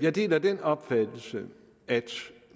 jeg deler den opfattelse at